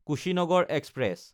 Kushinagar express